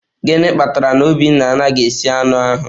Gịnị kpatara na obinna anaghị esi anụ ahu?